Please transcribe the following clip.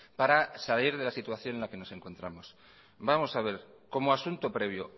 para salir de la situación en la que nos encontramos vamos a ver como asunto previo